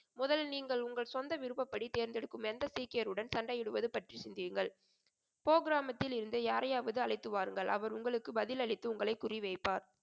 முதலில் நீங்கள் உங்கள் சொந்த விருப்பப்படி தேர்ந்தெடுக்கும் எந்த சீக்கியருடன் சண்டையிடுவது பற்றி சிந்தியுங்கள். போகிராமத்திலிருந்து யாரையாவது அழைத்து வாருங்கள். அவர் உங்களுக்கு பதிலளித்து உங்களை குறிவைப்பார்.